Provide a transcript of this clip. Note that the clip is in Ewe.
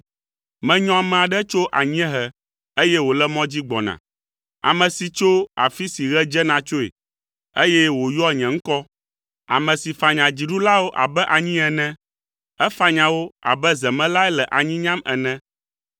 “Menyɔ ame aɖe tso anyiehe eye wòle mɔ dzi gbɔna. Ame si tso afi si ɣe dzena tsoe, eye wòyɔa nye ŋkɔ. Ame si fanya dziɖulawo abe anyi ene, efanya wo abe zemelae le anyi nyam ene.